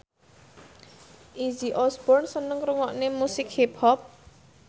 Izzy Osborne seneng ngrungokne musik hip hop